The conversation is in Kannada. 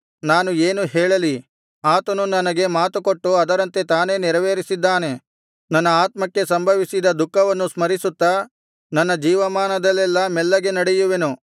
ನಾನು ಏನು ಹೇಳಲಿ ಆತನು ನನಗೆ ಮಾತುಕೊಟ್ಟು ಅದರಂತೆ ತಾನೇ ನೆರವೇರಿಸಿದ್ದಾನೆ ನನ್ನ ಆತ್ಮಕ್ಕೆ ಸಂಭವಿಸಿದ ದುಃಖವನ್ನು ಸ್ಮರಿಸುತ್ತಾ ನನ್ನ ಜೀವಮಾನದಲ್ಲೆಲ್ಲಾ ಮೆಲ್ಲಗೆ ನಡೆಯುವೆನು